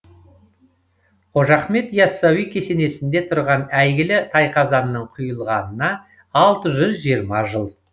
қожа ахмет и ассауи кесенесінде тұрған әйгілі тайқазанның құйылғанына алты жүз жиырма жыл